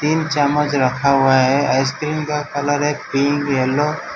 तीन चमज रखा हुवा है आइसक्रीम का कलर है पिंक येलो --